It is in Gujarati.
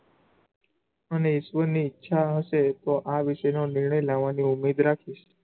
અને ઈશ્વર ની ઈચ્છા હશે તો આ વિષેનો નિર્ણય લેવાની ઉમ્મીદ રાખીશ